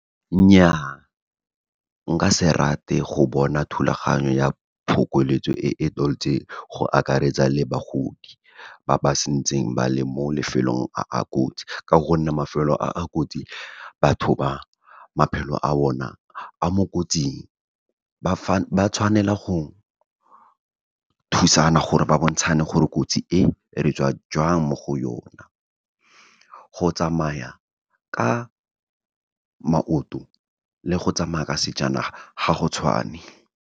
Nnyaa, nka se rate go bona thulaganyo ya phokoletso e e go akaretsa le bagodi ba ba santseng ba le mo lefelong a a kotsi, ka gonne mafelo a a kotsi batho ba maphelo a bona a mo kotsing, ba tshwanela go thusana gore ba bontshane gore kotsi e, re tswa jwang mo go yona. Go tsamaya ka maoto, le go tsamaya ka sejanaga ga go tshwane.